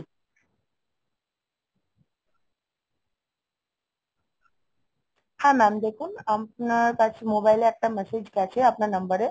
হ্যাঁ mam দেখুন, আপনার কাছে mobile এ একটা message গেছে আপনার number এ।